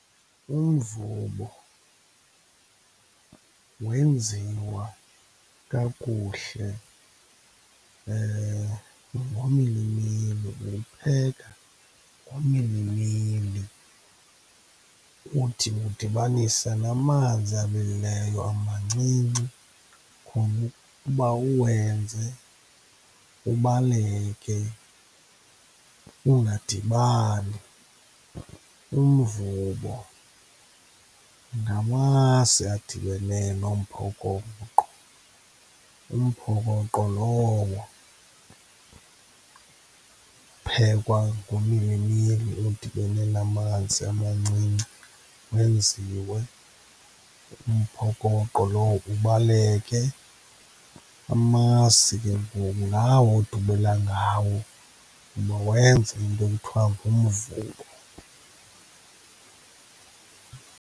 Umvubo wenziwa kakuhle ngomilimili, uwupheka ngomilimili, uthi udibanise namanzi abilileyo amancinci ukuba uwenze ubaleke ungadibani. Umvubo ngamasi adibene nomphokoqo, umphokoqo lowo uphekwa ngomilimili odibene namanzi amancinci, kwenziwe umphokoqo lowo ubaleke. Amasi ke ngoku ngawo odubela ngawo, ukuba wenze into ekuthiwa ngumvubo.